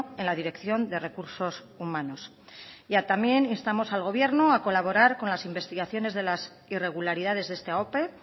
en la dirección de recursos humanos y también instamos al gobierno a colaborar con las investigaciones de las irregularidades de esta ope